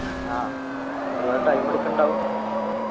ആഹ് ഒരുപാട് time എടുക്കുണ്ടാകും